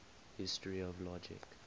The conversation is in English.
history of logic